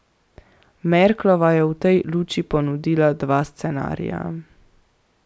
Merklova je v tej luči ponudila dva scenarija.